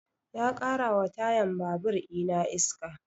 Ya ƙara wa tayan babur ina iska